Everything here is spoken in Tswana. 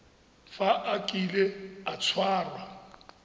fa a kile a tshwarwa